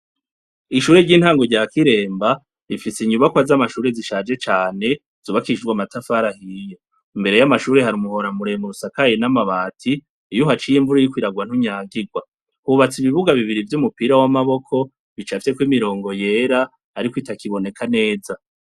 Ishure ry'intango rya Kiremba rifise inyubakwa z'amashure zishaje cane, zubakishijwe amatafari ahiye. Imbere y'amashure hari umuhora muremure usakaye n'amabati, iyo uhaciye imvura iriko iragwa ntunyagirwa. Hubatse ibibuga bibiri vy'umupira w'amaboko bicafyeko imiringo yera ariko bitakiboneka neza.